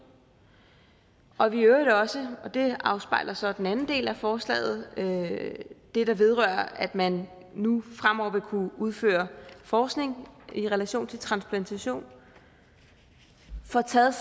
og at vi i øvrigt også og det afspejler så den anden del af forslaget det det der vedrører at man nu fremover vil kunne udføre forskning i relation til transplantation får taget